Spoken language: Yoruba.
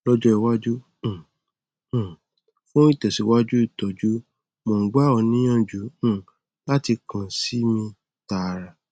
lọjọ iwájú um um fún ìtẹsíwájú ìtọjú mò ń gbà ọ níyànjú um láti kàn sí mi tààrà